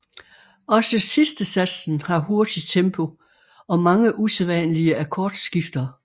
Også sidstesatsen har hurtig tempo og mange usædvanlige akkordskifter